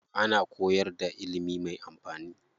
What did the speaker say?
Ana koyar da ilimi mai amfani.